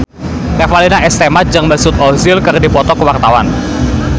Revalina S. Temat jeung Mesut Ozil keur dipoto ku wartawan